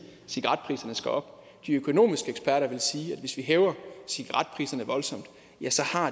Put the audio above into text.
at cigaretpriserne skal op de økonomiske eksperter ville sige at hvis vi hæver cigaretpriserne voldsomt